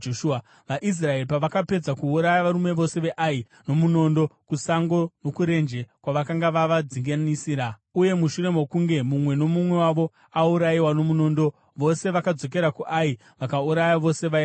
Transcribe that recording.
VaIsraeri pavakapedza kuuraya varume vose veAi nomunondo kusango nokurenje kwavakanga vavadzinganisira, uye mushure mokunge mumwe nomumwe wavo aurayiwa nomunondo, vose vakadzokera kuAi vakauraya vose vaivamo.